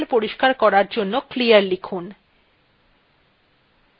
আবার terminal পরিষ্কার করার জন্য clear লিখুন